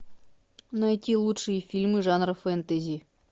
найти лучшие фильмы жанра фэнтези